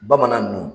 Bamanan nu